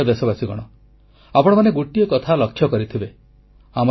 ମୋର ପ୍ରିୟ ଦେଶବାସୀଗଣ ଆପଣମାନେ ଗୋଟିଏ କଥା ଲକ୍ଷ୍ୟ କରିଥିବେ